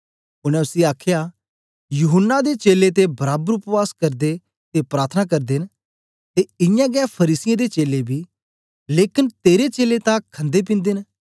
उनै उसी आखया यूहन्ना दे चेलें ते बराबर उपवास करदे ते प्रार्थना करदे न ते इयां गै फरीसियें दे चेलें बी लेकन तेरे चेलें तां खंदेपिन्दे न